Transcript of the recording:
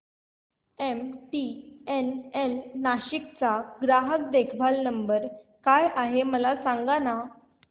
MTNL Nashik चा ग्राहक देखभाल नंबर काय आहे मला सांगाना